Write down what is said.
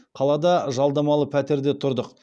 қалада жалдамалы пәтерде тұрдық